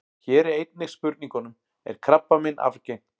Hér er einnig svarað spurningunum: Er krabbamein arfgengt?